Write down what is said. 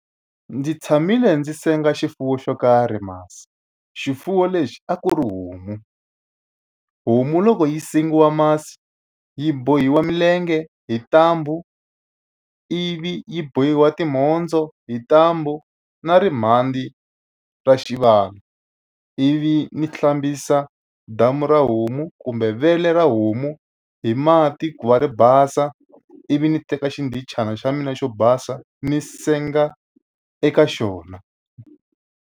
Ndzi tshamile ndzi senga xifuwo xo karhi masi, xifuwo lexi a ku ri homu. Homu loko yi sengiwa masi yi bohiwa milenge hi ntambhu, ivi yi bohiwa timhondzo hi ntambhu na timhandzi ra xivala, ivi ni hlambisa damu ra homu kumbe vele ra homu hi mati ku va ri basa. Ivi ni teka xindichana xa mina xo basa, ni senga eka xona.